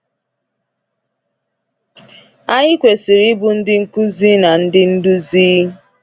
Anyị kwesịrị ịbụ ndị nkuzi na ndị nduzi.